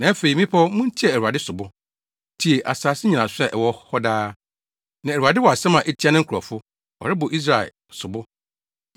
“Na afei, mmepɔw, muntie Awurade sobo; tie, asase nnyinaso a ɛwɔ hɔ daa. Na Awurade wɔ asɛm a etia ne nkurɔfo; ɔrebɔ Israel sobo.